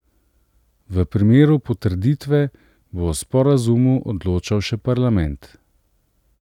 V primeru potrditve bo o sporazumu odločal še parlament.